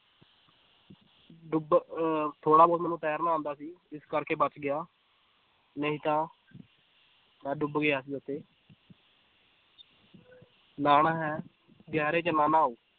ਡੁੱਬ ਅਹ ਥੋੜ੍ਹਾ ਬਹੁਤ ਮੈਨੂੰ ਤੈਰਨਾ ਆਉਂਦਾ ਸੀ ਇਸ ਕਰਕੇ ਬਚ ਗਿਆ ਨਹੀਂ ਤਾਂ ਮੈਂ ਡੁੱਬ ਗਿਆ ਸੀ ਉੱਥੇ ਨਹਾਉਣਾ ਹੈ ਗਹਿਰੇ ਚ ਨਾ ਨਹਾਓ